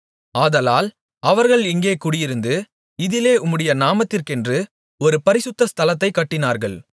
ஆதலால் அவர்கள் இங்கே குடியிருந்து இதிலே உம்முடைய நாமத்திற்கென்று ஒரு பரிசுத்த ஸ்தலத்தைக் கட்டினார்கள்